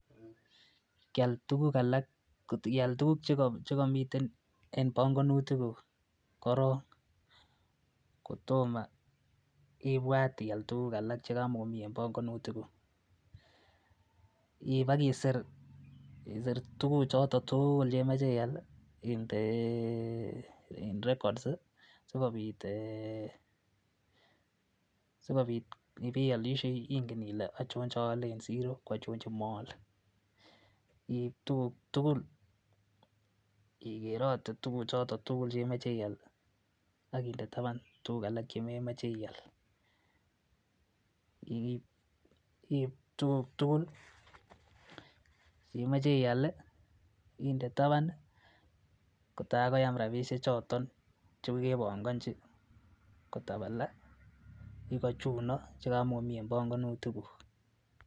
kyaal tugug alak iaal tuguk chegomiten een bongonutik guuk koroon kotomo ibwaat iaal tuguk alak chegamogomii en bongonutik guuk, iib agisiir tuguk choton tuugul chegemoche iiaal indeee records sigobiit um eeeh um sigobiit yebeolishei ingen ilee ochoon cheole en siro ko ochoon chemoolee, iib tuguguk tugul igerote tuguk choton tugul chemoche iiaal ak inde tabaan tuguk alaak chememoche iaal, iib tugk tugul chemoche iaal inde taban kotaar koyaam rabisyek choton chekogebongonji kotabala igoo chuno chegamogomii en bongonutik guuk